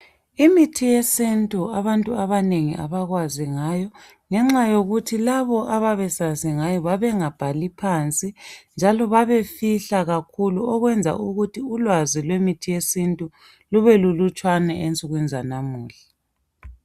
Imithi yesintu abantu abanengi abakwazi ngayo ngexa yokuthi labo ababesazi ngayo babengabhali phansi njalo babefihla kakhulu okwenza ukuthi ulwazi lwemithi yesintu lube lulutshwane ensukwini zanamuhla.